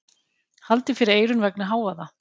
Haldið fyrir eyrun vegna hávaða.